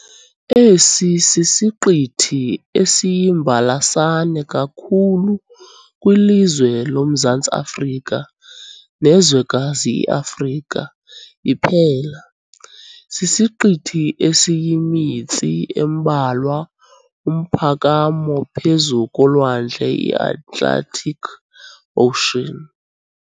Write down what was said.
Esi sisiqithi esiyimbalasane kakhulu kwilizwe loMzantsi Afrika nezwekazi iAfrika iphela. Sisiqithi esiyimitsi embalwa umphakamo phezu kolwandle iAtlantic ocean.